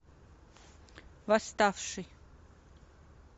восставший